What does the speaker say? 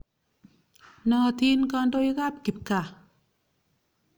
Naatin kandoik ap kipkaa.